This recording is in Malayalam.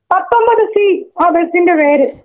പത്തൊമ്പത് സി ആ ബസിന്റെ പേര്.